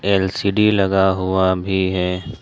LCD लगा हुआ भी है।